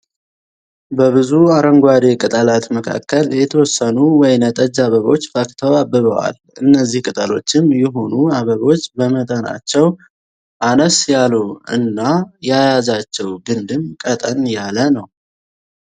በብዙ አረንጓዴ ቅጠላት መካከል የተወሰኑ ወይነጠጅ አበቦች ፈክተው አብበዋል። እነዚህ ቅጠሎችም ይሁኑ አበቦች በመጠናቸው አነስ ያሉ እና ያያዛቸው ግንድም ቀጠን ያለ ነው።